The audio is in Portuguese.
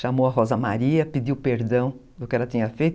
Chamou a Rosa Maria, pediu perdão do que ela tinha feito.